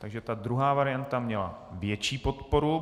Takže ta druhá varianta měla větší podporu.